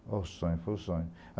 Foi o sonho, foi o sonho.